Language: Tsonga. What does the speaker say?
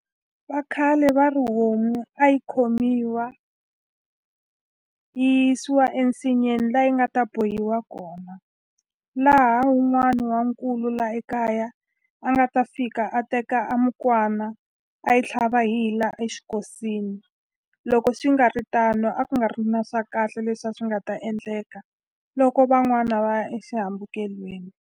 Vakhale va ri homu a yi khomiwa yi yisiwa ensinyeni la yi nga ta bohiwa kona laha wun'wani wa nkulu la ekaya a nga ta fika a teka a mukwana a yi tlhava hi hi la exikosini loko swi nga ri tano a ku nga ri na swa kahle leswi a swi nga ta endleka loko van'wana va ya exihambukelweni.